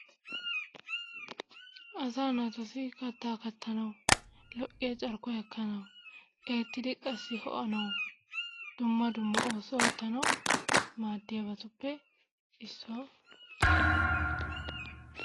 Asaa naatussi kaattaa kaattanwu lo"iyaa carkkuwaa ikkanawu eettidikka qassi hoo"anawu dumma dumma oosuwaa oottanawu maadiyaabatuppe issuwaa.